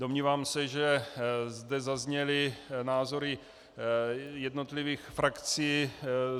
Domnívám se, že zde zazněly názory jednotlivých frakcí.